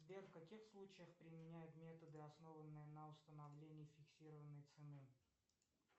сбер в каких случаях применяют методы основанные на установлении фиксированной цены